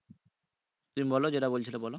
তুমি বলো যেটা বলছিলে বলো